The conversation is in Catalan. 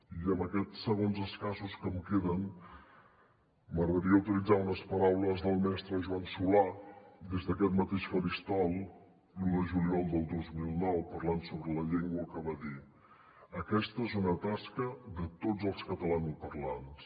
i en aquests segons escassos que em queden m’agradaria utilitzar unes paraules del mestre joan solà des d’aquest mateix faristol l’un de juliol del dos mil nou parlant sobre la llengua que va dir aquesta és una tasca de tots els catalanoparlants